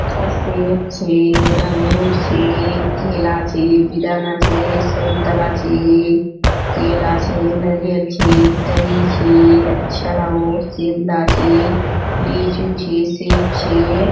सेब छे अंगुर छे केला छे बेदाना छे संतला छे केला छे नारियल छे तरी छे अच्छा लागोहो सेबला छे लीचू छे सेब छे।